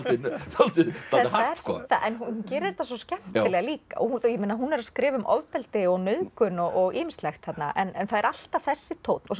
dálítið hart sko en hún gerir þetta svo skemmtilega líka hún er að skrifa um ofbeldi og nauðgun og ýmislegt þarna en það er alltaf þessi tónn og svo